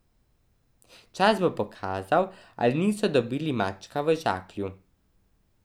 Čas bo pokazal, ali niso dobili mačka v žaklju.